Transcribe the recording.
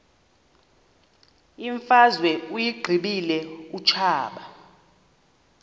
imfazwe uyiqibile utshaba